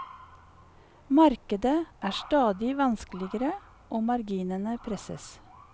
Markedet er stadig vanskeligere og marginene presses.